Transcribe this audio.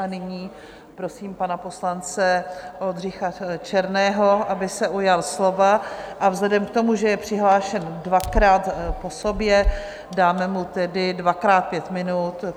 A nyní prosím pana poslance Oldřicha Černého, aby se ujal slova, a vzhledem k tomu, že je přihlášen dvakrát po sobě, dáme mu tedy dvakrát pět minut.